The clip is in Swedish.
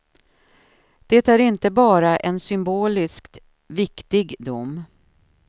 Det är inte bara en symboliskt viktig dom.